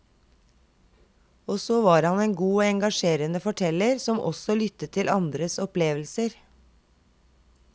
Og så var han en god og engasjerende forteller som også lyttet til andres opplevelser.